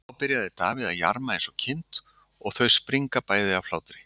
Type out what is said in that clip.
Þá byrjar Davíð að jarma eins og kind og þau springa bæði af hlátri.